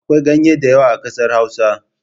Akwai ganye da yawa a kasar hausa.